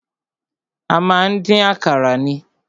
A má ń dín àkàrà ni.